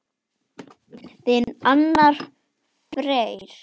Þinn Arnar Freyr.